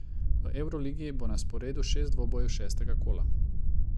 V evroligi bo na sporedu šest dvobojev šestega kola.